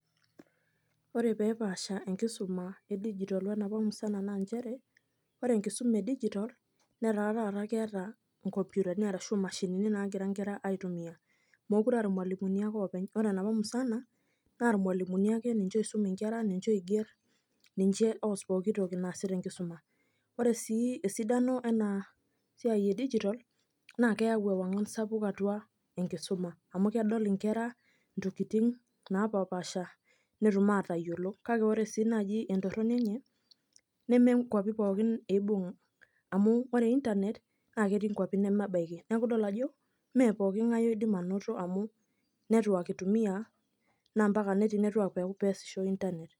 Ore pepaasha enkisuma edijitol wenapa musana naa njere, ore enkisuma edijitol, netaa taata keeta inkompitani ashu imashinini nagira nkera aitumia. Mokure ah irmalimuni ake oopeny. Ore enapa musana, na irmalimuni ake ninche oisum inkera, ninche oiger, ninche oos pooki toki naasi tenkisuma. Ore si esidano enasiai edijitol, naa keeu ewang'an sapuk atua enkisuma. Amu kedol inkera intokiting napapaasha, netum atayiolo. Kake ore si naaji entorroni enye, neme nkwapi pookin ibung',amu ore Internet, na ketii nkwapi nemebaiki. Neeku idol ajo, me pooking'ae oidim anoto amu, netwak itumia, na mpaka netii netwak peesisho Internet.